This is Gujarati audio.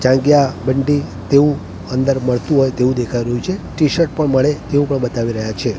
જાંગ્યા બન્ટી તેવું અંદર મડતું હોય તેવું દેખાય રહ્યું છે ટીશર્ટ પણ મળે એવું પણ બતાવી રહ્યા છે.